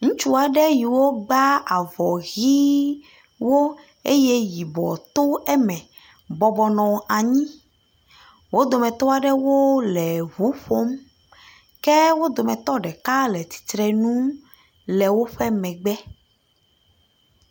ŋutsu aɖe yiwo gbã avɔ yi eye yibɔ tó eme bɔbɔ nɔnyi wó dometɔɖewo le ʋu ƒom ke wó dometɔ ɖeka le tsitrenu le woƒe megbe